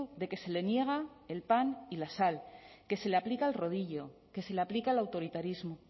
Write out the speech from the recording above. de que se le niega el pan y la sal que se le aplica el rodillo que se le aplica el autoritarismo